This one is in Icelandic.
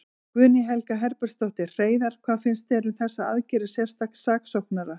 Guðný Helga Herbertsdóttir: Hreiðar, hvað finnst þér um þessar aðgerðir sérstaks saksóknara?